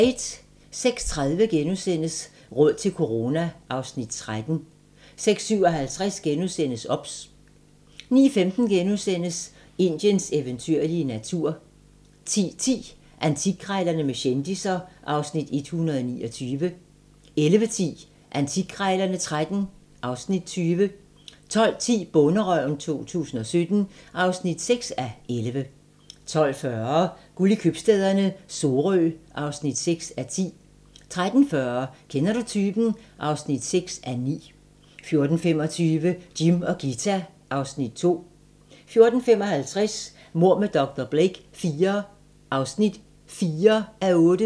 06:30: Råd til corona (Afs. 13)* 06:57: OBS * 09:15: Indiens eventyrlige natur * 10:10: Antikkrejlerne med kendisser (Afs. 129) 11:10: Antikkrejlerne XIII (Afs. 20) 12:10: Bonderøven 2017 (6:11) 12:40: Guld i købstæderne - Sorø (6:10) 13:40: Kender du typen? (6:9) 14:25: Jim og Ghita (Afs. 2) 14:55: Mord med dr. Blake IV (4:8)